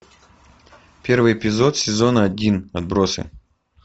первый эпизод сезона один отбросы